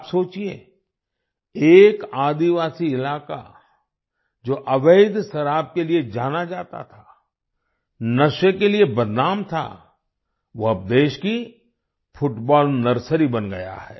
आप सोचिये एक आदिवासी इलाका जो अवैध शराब के लिए जाना जाता था नशे के लिए बदनाम था वो अब देश की फुटबॉल नर्सरी बन गया है